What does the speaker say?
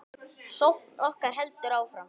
Sókn okkar heldur áfram.